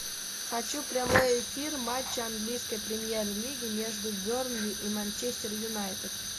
хочу прямой эфир матча английской премьер лиги между бернли и манчестер юнайтед